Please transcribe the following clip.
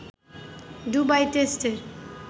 Dubai টেস্টের